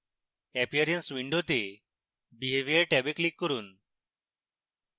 appearance window behavior ট্যাবে click করুন